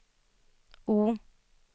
O